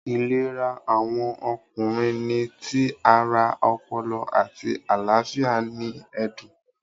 Ìlera awọn Ọkùnrin ni tí ará, ọpọlọ, àti àlàáfíà ní ẹdun